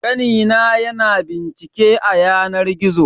Kani na ya na bincike a yanar gizo.